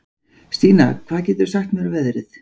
Stína, hvað geturðu sagt mér um veðrið?